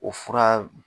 O fura